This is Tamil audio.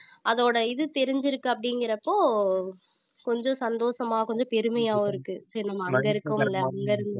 அதோட இது தெரிஞ்சிருக்கு அப்படிங்கிறப்போ கொஞ்சம் சந்தோஷமா கொஞ்சம் பெருமையாவும் இருக்கு சரி நம்ம அங்க இருக்கோம் இல்ல அங்க இருந்து